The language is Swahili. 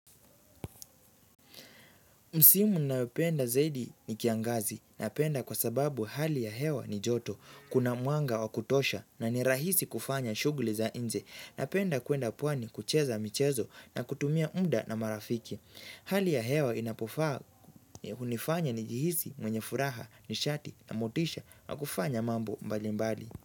Msimu nayopenda zaidi ni kiangazi. Napenda kwa sababu hali ya hewa ni joto. Kuna mwanga wa kutosha na ni rahisi kufanya shughuli za nje. Napenda kuenda pwani kucheza michezo na kutumia muda na marafiki. Hali ya hewa inapofaa hunifanya nijihisi mwenye furaha, nishati na motisha na kufanya mambo mbali mbali.